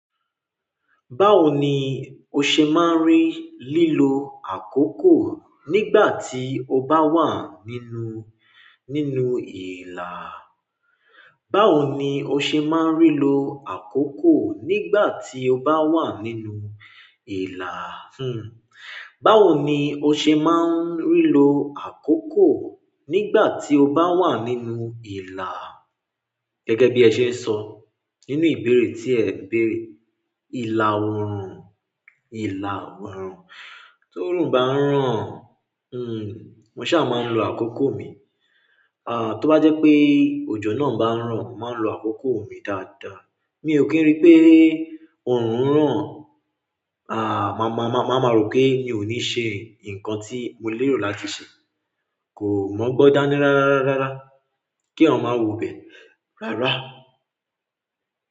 Báwo ni o ṣe máa ń rí lílo àkókò nígbà tí o bá wà nínú, nínú ìlà? Báwo ni o ṣe máa ń rí lo àkókò nígbà tí o bá wà nínú ìlà? Hmm. Báwo ni o ṣe máa ń rí lo àkókò nígbà tí o bá wà nínú ìlà? Gẹ́gẹ́ bí ẹ ṣe ń sọ, nínú ìbéèrè tí ẹ béèrè. Ìlà òórùn, ìlà òórùn. Tó òórùn bá ń ràn, mo ṣà máa ń lo àkókò mi. Tó bá jẹ́ pé òjò náà bá ń ràn, màá lo àkókò mi dáadáa. Mi ò kí ń rí pé òórùn ran, má máa rọ̀ pé mi ò ní ṣe nǹkan tí mo lérò láti ṣe. Kò mọgbọ́n dáni rárá, rárá. Kí ẹ̀yan má wo bẹ. Rárá.